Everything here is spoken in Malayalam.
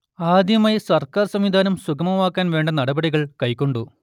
ആദ്യമായി സർക്കാർ സംവിധാനം സുഗമമാക്കാൻ വേണ്ട നടപടികൾ കൈക്കൊണ്ടു